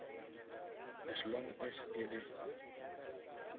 as long as e le